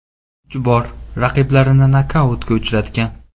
Uch bor raqiblarini nokautga uchratgan.